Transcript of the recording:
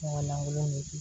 Ɲɔgɔn lankolon de di